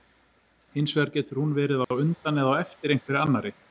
Hins vegar getur hún verið á undan eða á eftir einhverri annarri.